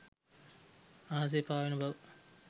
අහසේ පාවෙන බව